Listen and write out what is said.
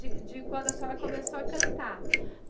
De de quando a senhora começou a cantar.